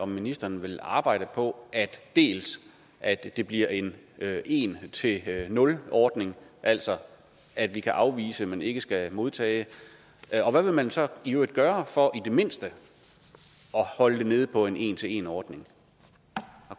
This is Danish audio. ministeren vil arbejde på at at det bliver en en til nul ordning altså at vi kan afvise men ikke skal modtage og hvad vil man så i øvrigt gøre for i det mindste at holde det nede på en en til en ordning